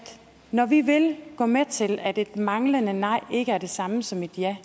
når vi vil gå med til at et manglende nej ikke er det samme som et ja